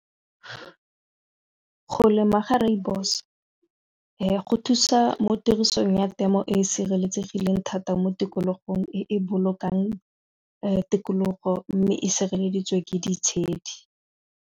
Go lema ga rooibos go thusa mo tirisong ya temo e e sireletsegileng thata mo tikologong e e bolokang tikologo mme e sireleditswe ke ditshedi.